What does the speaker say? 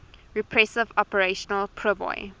repressive operation priboi